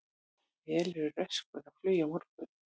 Veruleg röskun á flugi á morgun